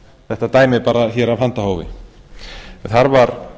þetta dæmi bara hér af handahófi a var